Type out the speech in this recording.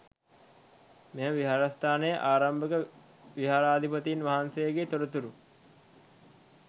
මෙම විහාරස්ථානයේ ආරම්භක විහාරාධිපතීන් වහන්සේගේ තොරතුරු